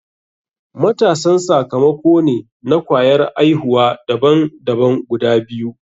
Matasan sakamako ne na kwayar aihuwa daban daban guda biyu.